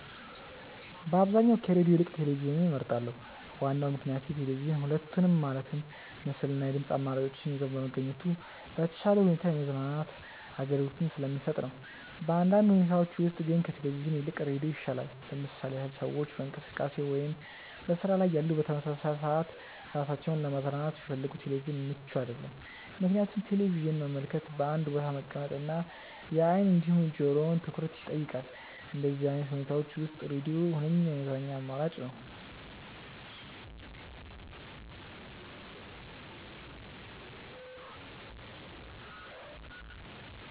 በአብዛኛው ከሬድዮ ይልቅ ቴሌቪዥንን እመርጣለሁ። ዋናው ምክንያቴ ቴሌቪዥን ሁለቱንም ማለትም ምስል እና የድምጽ አማራጮችን ይዞ በመገኘቱ በተሻለ ሁኔታ የማዝናናት አገልግሎትን ስለሚሰጥ ነው። በአንዳንድ ሁኔታዎች ውስጥ ግን ከቴሌቪዥን ይልቅ ሬዲዮ ይሻላል። ለምሳሌ ያህል ሰዎች በእንቅስቃሴ ላይ ወይም በስራ ላይ እያሉ በተመሳሳይ ሰዓት ራሳቸውን ለማዝናናት ቢፈልጉ ቴሌቪዥን ምቹ አይደለም፤ ምክንያቱም ቴሌቪዥንን መመልከት በአንድ ቦታ መቀመጥ እና የአይን እንዲሁም የጆሮውን ትኩረት ይጠይቃል። በእንደዚህ አይነት ሁኔታዎች ውስጥ ሬድዮ ሁነኛ የመዝናኛ አማራጭ ነው።